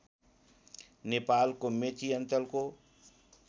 नेपालको मेची अञ्चलको